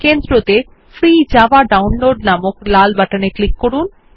কেন্দ্রতে free Java download নামক লাল button এ ক্লিক করুন